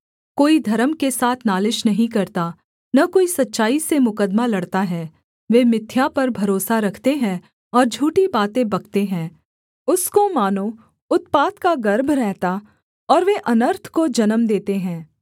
कोई धर्म के साथ नालिश नहीं करता न कोई सच्चाई से मुकद्दमा लड़ता है वे मिथ्या पर भरोसा रखते हैं और झूठी बातें बकते हैं उसको मानो उत्पात का गर्भ रहता और वे अनर्थ को जन्म देते हैं